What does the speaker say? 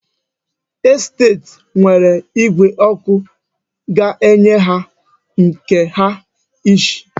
Estet nwere igwe ọkụ ga-enye ha nke ha iche.